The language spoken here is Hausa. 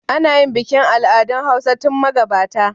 Ana yin bikin al'adun hausa tun magabata